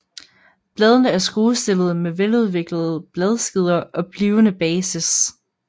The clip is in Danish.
Bladene er skruestillede med veludviklede bladskeder og blivende basis